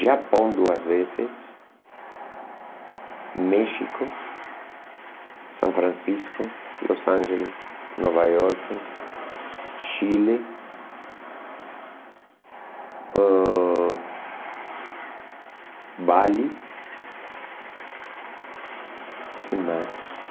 Japão duas vezes, México, São Francisco, Los Angeles, Nova Iorque, Chile, ãh Bali, que mais?